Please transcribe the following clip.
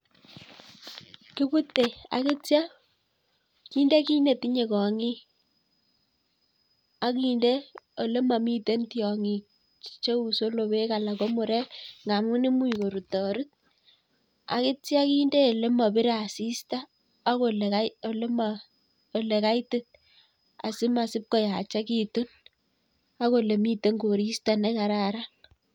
Kibute agitya kinde kiy netinye kong'ik. Aginde ole mamiten tiong'ik cheu solobek anan ko murek nga amun imuch korutorut. Agitya kinde ole mapire asista, ak ole um, ole ma , ole kaitit. Asima asipkoyachakitun, agole miten koristo ne kararan.